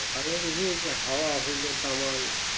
বাংলাদেশে যে হাওয়া হইলো তামাং